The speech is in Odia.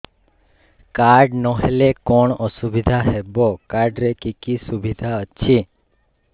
କାର୍ଡ ନହେଲେ କଣ ଅସୁବିଧା ହେବ କାର୍ଡ ରେ କି କି ସୁବିଧା ଅଛି